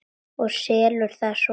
Og selurðu það svo?